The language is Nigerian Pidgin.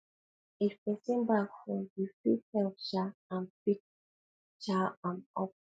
if pesin bag fall you fit help um am pick um am up